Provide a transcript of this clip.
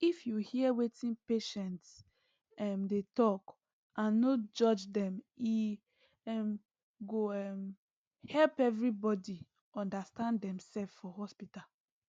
if you hear wetin patients um dey talk and no judge dem e um go um help everybody understand demself for hospital